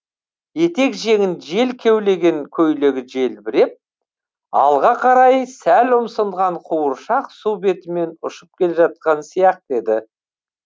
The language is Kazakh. етек жеңін жел кеулеген көйлегі желбіреп алға қарай сәл ұмсынған қуыршақ су бетімен ұшып келе жатқан сияқты еді